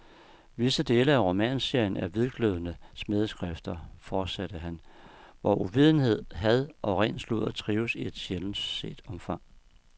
Visse dele af romanserien er hvidglødende smædeskrifter, fortsatte han, hvor uvidenhed, had og ren sludder trives i et sjældent set omfang.